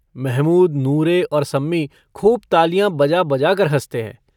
महमूद नूरे और सम्मी खूब तालियाँ बजा बजाकर हँसते हैं।